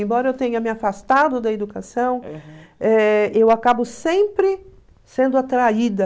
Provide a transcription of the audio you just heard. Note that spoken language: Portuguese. Embora eu tenha me afastado da educação, eh eu acabo sempre sendo atraída.